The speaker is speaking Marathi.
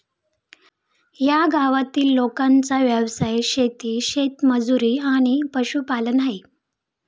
या गावातील लोकांचा व्यवसाय शेती, शेतमजुरी आणि पशुपालन आहे.